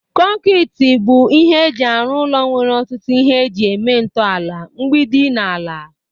kọnkịtị bụ ihe eji arụ ụlọ nwere ọtụtụ ihe eji eme ntọala, mgbidi na ala.